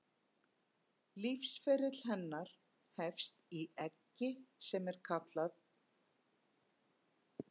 Lífsferill hennar hefst í eggi sem kallað er nit.